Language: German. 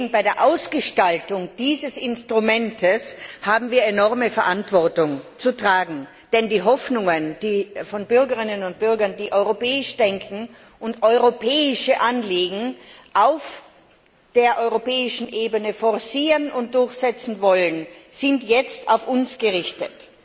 Bei der Ausgestaltung dieses Instruments haben wir enorme Verantwortung zu tragen. Denn die Hoffnung, die von Bürgerinnen und Bürgern, die europäisch denken und europäische Anliegen auf europäischer Ebene forcieren und durchsetzen wollen, sind auf uns gerichtet.